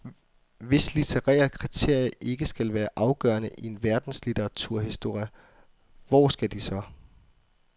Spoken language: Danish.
Hvis litterære kriterier ikke skal være afgørende i en verdenslitteraturhistorie, hvor skal de så.